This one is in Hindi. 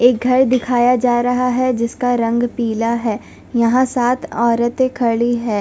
एक घर दिखाया जा रहा है जिसका रंग पीला है यहां सात औरते खड़ी है।